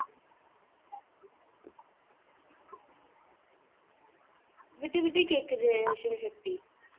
விட்டு விட்டு கேக்குது சிவ சக்தி